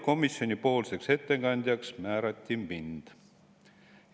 Komisjoni ettekandjaks määrati mind.